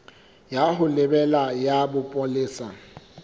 ya ho lebela ya bopolesa